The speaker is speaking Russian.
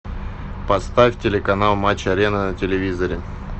поставь телеканал матч арена на телевизоре